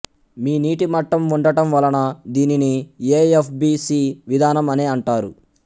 మీ నీటి మట్టం వుండటం వలన దీనిని ఏ ఎఫ్ బి సి విధానం అనే అంటారు